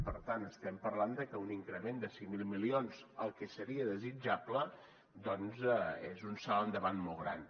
per tant estem parlant de que un increment de cinc mil milions el que seria desitjable doncs és un salt endavant molt gran